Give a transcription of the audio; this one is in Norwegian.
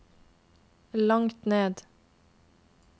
langt ned